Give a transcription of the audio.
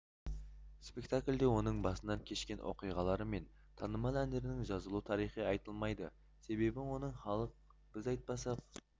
спектакльде оның басынан кешкен оқиғалары мен танымал әндерінің жазылу тарихы айтылмайды себебі оны халық біз айтпасақ